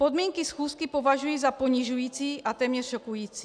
Podmínky schůzky považuji za ponižující a téměř šokující.